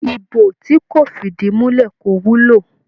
Ibo tí kò fìdìmulẹ́ kó wúlò.